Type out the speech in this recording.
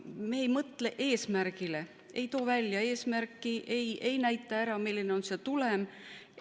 Me ei mõtle eesmärgile, ei too välja eesmärki, ei näita ära, milline on see tulem.